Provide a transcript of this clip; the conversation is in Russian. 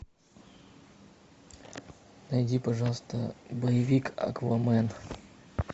найди пожалуйста боевик аквамен